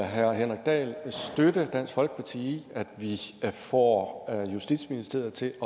herre henrik dahl støtte dansk folkeparti i at få justitsministeriet til